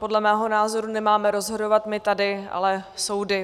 Podle mého názoru nemáme rozhodovat my tady, ale soudy.